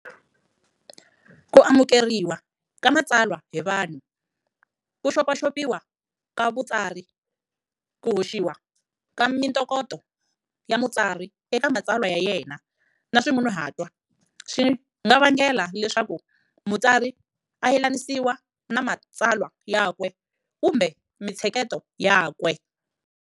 Ku amukeriwa ka matsalwa hi vanhu, ku xopaxopiwa ka vutsari, ku hoxiwa ka mintokoto ya mutsari eka matsalwa ya yena na swimunuhatwa, swi nga vangela leswaku mutsari a yelanisiwa ni matsalwa yakwe kumbe mintsheketo yakwe.